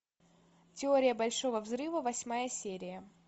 теория большого взрыва восьмая серия